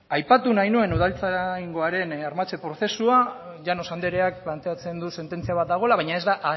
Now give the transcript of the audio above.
aipatu nahi nuen udaltzaingoaren armatzen prozesua llanos andreak planteatzen du sententzia ba dagoela baina ez da